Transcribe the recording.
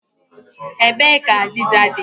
Ebee ka azịza dị?